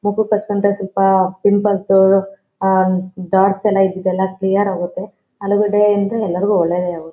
ಮುಖಕ್ ಹಚ್ ಕೊಂಡ್ರೆ ಸ್ವಲ್ಪಪಿಂಪಲ್ಸ್ ಆಹ್ ಡಾಟ್ಸ್ ಎಲ್ಲ ಇದ್ದಿದ್ ಎಲ್ಲ ಕ್ಲಿಯರ್ ಆಗುತ್ತೆ ಆಲೂಗಡ್ಡೆಯಿಂದ ಎಲ್ಲರಿಗೂ ಒಳ್ಳೇದಾಗುತ್ತೆ.